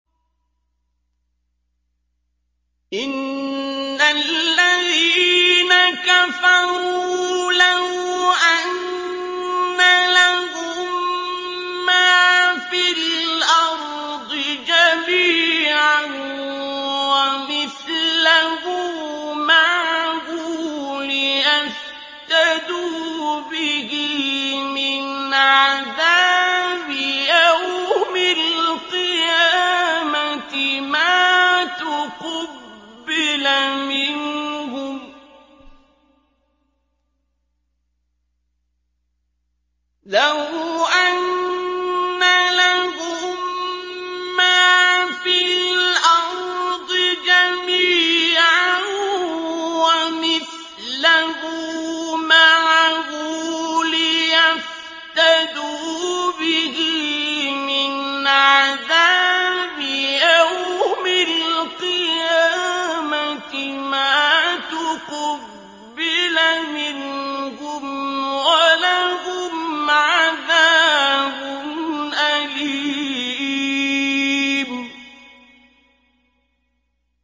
إِنَّ الَّذِينَ كَفَرُوا لَوْ أَنَّ لَهُم مَّا فِي الْأَرْضِ جَمِيعًا وَمِثْلَهُ مَعَهُ لِيَفْتَدُوا بِهِ مِنْ عَذَابِ يَوْمِ الْقِيَامَةِ مَا تُقُبِّلَ مِنْهُمْ ۖ وَلَهُمْ عَذَابٌ أَلِيمٌ